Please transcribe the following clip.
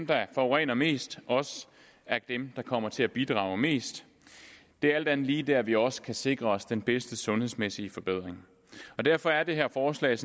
der forurener mest også er dem der kommer til at bidrage mest det er alt andet lige der vi også kan sikre os den bedste sundhedsmæssige forbedring derfor er det her forslag